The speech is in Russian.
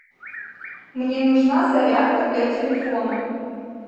мне нужна зарядка для телефона